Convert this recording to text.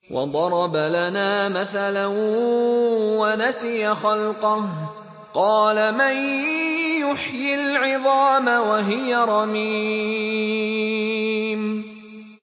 وَضَرَبَ لَنَا مَثَلًا وَنَسِيَ خَلْقَهُ ۖ قَالَ مَن يُحْيِي الْعِظَامَ وَهِيَ رَمِيمٌ